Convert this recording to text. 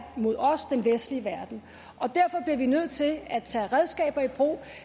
mod os i den vestlige verden og derfor bliver vi nødt til at tage redskaber i brug